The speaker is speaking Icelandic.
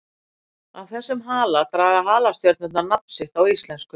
Af þessum hala draga halastjörnurnar nafn sitt á íslensku.